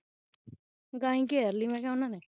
ਗਾਈ ਘੇਰ ਲਈ ਮੈਂ ਕਿਹਾ ਉਹਨਾਂ ਨੇ